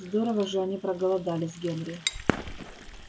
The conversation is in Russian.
здорово же они проголодались генри